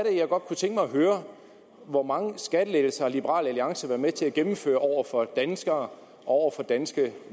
jeg godt kunne tænke mig at høre hvor mange skattelettelser liberal alliance har været med til at gennemføre over for danskere og over for danske